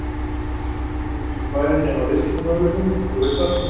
Þó ekki væri nema viðskiptamöguleikarnir, en þú veist allt um það.